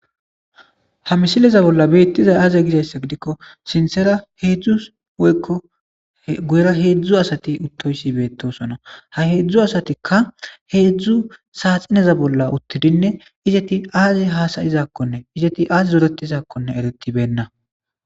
ha misileza bolla beettiza aaze gizayssa gidikko sintsera heedzdzu woykko guyra heedzdzu asati uttoysi beettosona ha heedzdzu asatikka heedzdzu saaxineza bolla uttidinne izeti aaze hasayizakkonne izeti aaz zorettizakkonne eretibenna